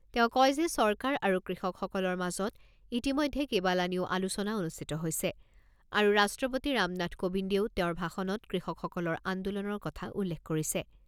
তেওঁ কয় যে চৰকাৰ আৰু কৃষকসকলৰ মাজত ইতিমধ্যে কেইবালানিও আলোচনা অনুষ্ঠিত হৈছে আৰু ৰাষ্ট্ৰপতি ৰামনাথ কোবিন্দেও তেওঁৰ ভাষণত কৃষকসকলৰ আন্দোলনৰ কথা উল্লেখ কৰিছে।